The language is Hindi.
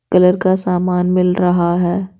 कलर का सामान मिल रहा है।